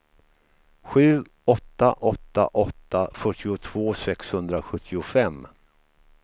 sju åtta åtta åtta fyrtiotvå sexhundrasjuttiofem